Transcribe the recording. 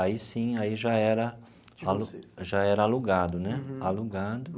Aí, sim, aí já era alu já era alugado né alugado.